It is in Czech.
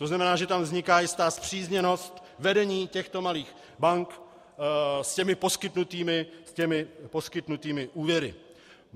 To znamená, že tam vzniká jistá spřízněnost vedení těchto malých bank s těmi poskytnutými úvěry.